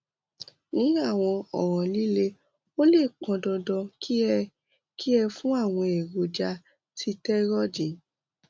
ní àwọn ọràn líle ó lè pọn dandan kí ẹ kí ẹ fún àwọn èròjà sítẹrọìdì